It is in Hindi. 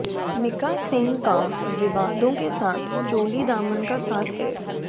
मीका सिंह का विवादों के साथ चोली दामन का साथ है